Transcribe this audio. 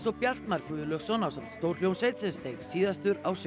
Bjartmar Guðlaugsson ásamt stjórhljómsveit steig síðastur á svið